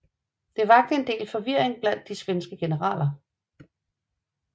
Det vakte en del forvirring blandt de svenske generaler